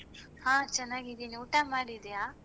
ಹಾ ಚನ್ನಾಗಿದೇನೆ ಊಟ ಮಾಡಿದ್ಯಾ?